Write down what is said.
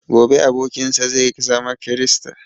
Gobe abokin sa zai zama krista